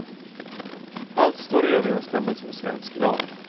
Allt står i överensstämmelse med svensk lag.